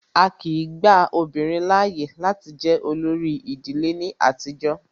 Á kìí gba obìnrin láàyè láti jẹ olórí ìdílé ní àtijọ́.